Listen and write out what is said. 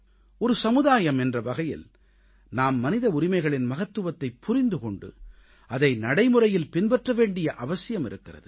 ஒரு சமுதாயம் என்ற வகையில் நாம் மனித உரிமைகளின் மகத்துவத்தைப் புரிந்து கொண்டு அதை நடைமுறையில் பின்பற்ற வேண்டிய அவசியம் இருக்கிறது